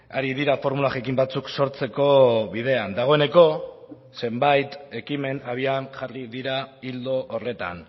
ari dira formula jakin batzuk sortzeko bidean dagoeneko zenbait ekimen abian jarri dira ildo horretan